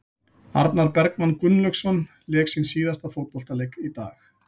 Arnar Bergmann Gunnlaugsson lék sinn síðasta fótboltaleik í dag.